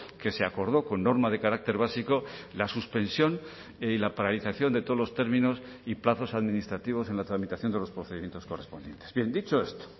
que se acordó con norma de carácter básico la suspensión y la paralización de todos los términos y plazos administrativos en la tramitación de los procedimientos correspondientes bien dicho esto